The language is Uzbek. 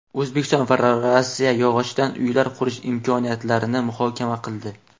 O‘zbekiston va Rossiya yog‘ochdan uylar qurish imkoniyatlarini muhokama qildi.